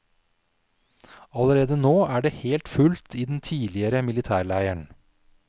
Allerede nå er det helt fullt i den tidligere militærleiren.